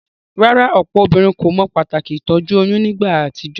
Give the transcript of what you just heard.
Rárá, òpò obínrin kò mo pàtàkì ìtójú oyún nígba àtijó?